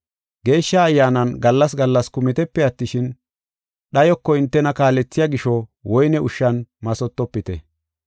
Geeshsha Ayyaanan gallas gallas kumitepe attishin, dhayoko hintena kaalethiya gisho woyne ushshan mathotofite.